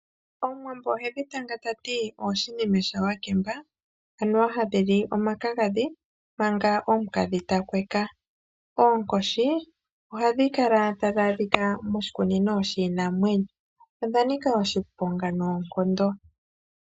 Omuwambo ohedhi tanga tati oshinime shawakemba anuwa hadhi li omakagathi manga omukadhi takweka. Oonkoshi ohadhi kala tadhi adhika moshikunino shinamwenyo. Odha nika oshiponga noonkondo.